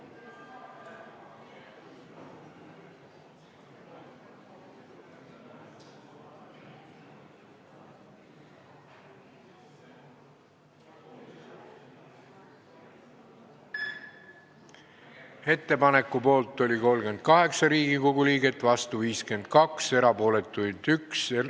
Hääletustulemused Ettepaneku poolt oli 38 ja vastu 52 Riigikogu liiget, erapooletuid oli 1.